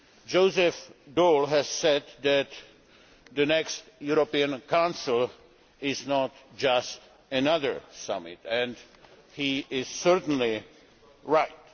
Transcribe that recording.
Joseph Daul said that the next European Council is not just another summit, and he is certainly right.